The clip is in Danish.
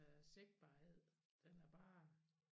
Æ sigtbarhed den er bare